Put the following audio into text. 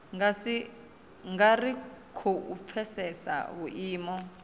nga ri khou pfesesa vhuimo